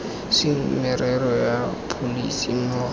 seng merero ya pholese mmogo